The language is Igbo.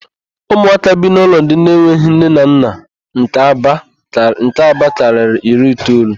Ụmụaka bi n'ụlọ ndị enweghị nne na nna nke Aba karịrị iri itoolu.